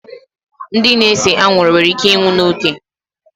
Ndị na-ese anwụrụ nwere íké ịnwụ n'oge